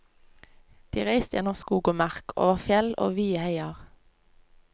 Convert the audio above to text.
De reiste gjennom skog og mark, over fjell og vide heier.